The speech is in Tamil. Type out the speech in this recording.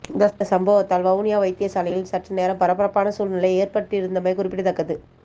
இந்த சம்பவத்தால் வவுனியா வைத்தியசாலையில் சற்றுநேரம் பரபரப்பான சூழ்நிலை ஏற்பட்டிருந்தமை குறிப்பிடத்தக்கது